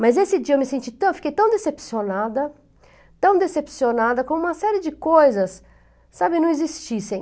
Mas esse dia eu me senti tão... eu fiquei tão decepcionada, tão decepcionada como uma série de coisas, sabe, não existissem.